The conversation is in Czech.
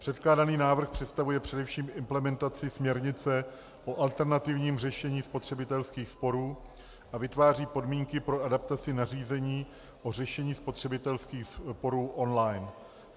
Předkládaný návrh představuje především implementaci směrnice o alternativním řešení spotřebitelských sporů a vytváří podmínky pro adaptaci nařízení o řešení spotřebitelských sporů online.